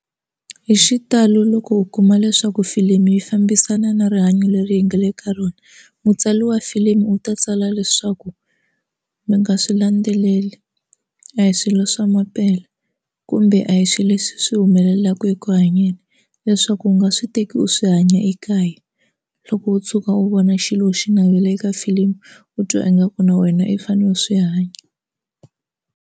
Hi xitalo loko u kuma leswaku filimi yi fambisana na rihanyo leri hi nga le ka rona mutswari wa filimi u ta tsala leswaku mi nga swi landzeleli a hi swilo swa mampela kumbe a hi swilo leswi swi humelelaka eku hanyeni leswaku u nga swi teki u swi hanya ekaya loko u tshuka u vona xilo xi navele eka filimu u twa ingaku na wena i fanele u swi hanya.